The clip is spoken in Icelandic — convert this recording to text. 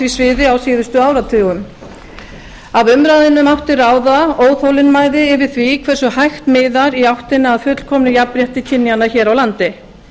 því sviði á síðustu áratugum af umræðunni mátti ráða óþolinmæði yfir því hversu hægt miðar í áttina að fullkomnu jafnrétti kynjanna hér á landi